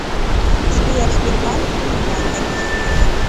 сбер сбербанк уебаторы